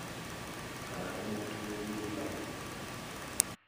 kana ndĩmũturĩrie maru?